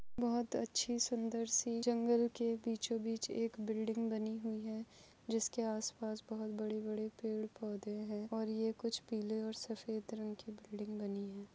बहुत अच्छी सुंदर सी जंगल के बीचो बीच एक बिल्डिंग बनी हुई है जिसके आस पास बहुत बड़े बड़े पेड़ पौधे है और ये कुछ पिले और सफ़ेद रंग की बिल्डिंग बनी है।